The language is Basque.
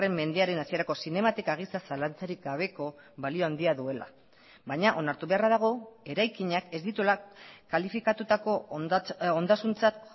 mendearen hasierako zinematika gisa zalantzarik gabeko balio handia duela baina onartu beharra dago eraikinak ez dituela kalifikatutako ondasuntzat